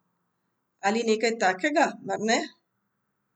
Ali nekaj takega, mar ne?